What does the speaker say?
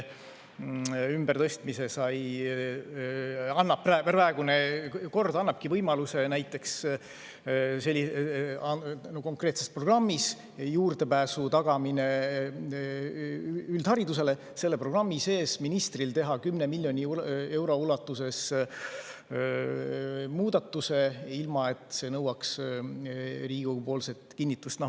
Praegune kord annabki ministrile võimaluse konkreetse programmi sees, näiteks üldharidusele juurdepääsu tagamise programmi sees, teha 10 miljoni euro ulatuses muudatuse, ilma et see nõuaks Riigikogu kinnitust.